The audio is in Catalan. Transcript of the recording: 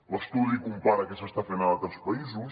l’estudi compara què s’està fent a altres països